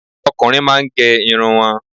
Ọkùnrin máà ń gẹ irun wọn